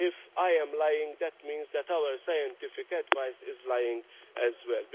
so. If I am lying, that means that our scientific advice is lying as